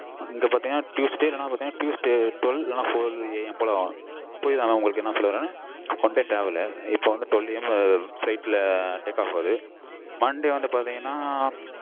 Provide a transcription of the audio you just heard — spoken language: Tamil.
இங்க பாத்தீங்கனா tuesday எல்லான் tuesday twelve four AM போல ஆகும் so நான் உங்களுக்கு என்ன சொல்ல வரென்னா one day travel லு sunday twelve AM take off ஆகுது monday வந்து பாத்தீங்கனா